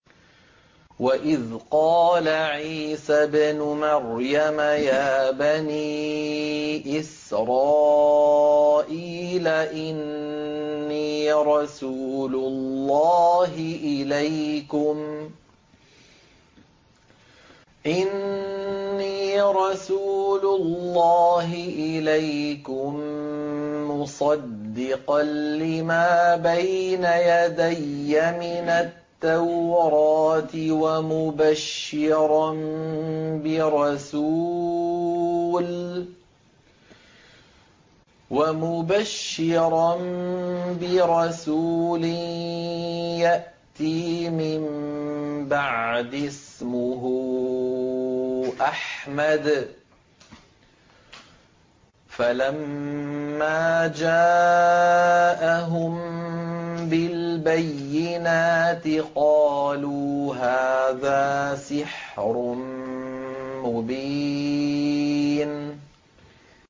وَإِذْ قَالَ عِيسَى ابْنُ مَرْيَمَ يَا بَنِي إِسْرَائِيلَ إِنِّي رَسُولُ اللَّهِ إِلَيْكُم مُّصَدِّقًا لِّمَا بَيْنَ يَدَيَّ مِنَ التَّوْرَاةِ وَمُبَشِّرًا بِرَسُولٍ يَأْتِي مِن بَعْدِي اسْمُهُ أَحْمَدُ ۖ فَلَمَّا جَاءَهُم بِالْبَيِّنَاتِ قَالُوا هَٰذَا سِحْرٌ مُّبِينٌ